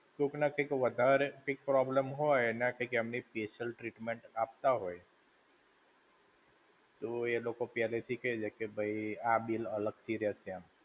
કોક ના કંઈક વધારે કઈંક problem હોય, તો એમના કંઈક એમને special treatment આપતા હોય, તો એલોકો પહેલે થી કઈ દે કે ભઈ આ bill અલગ થી રહેશે એમ.